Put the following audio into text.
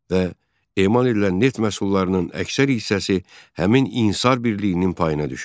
Və emal elilən neft məhsullarının əksər hissəsi həmin inhisar birliyinin payına düşürdü.